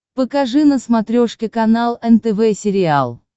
покажи на смотрешке канал нтв сериал